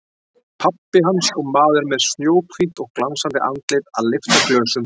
Pabbi hans og maður með snjóhvítt og glansandi andlit að lyfta glösum.